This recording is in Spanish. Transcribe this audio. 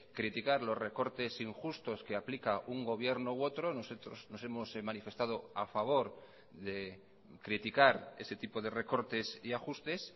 criticar los recortes injustos que aplica un gobierno u otro nosotros nos hemos manifestado a favor de criticar ese tipo de recortes y ajustes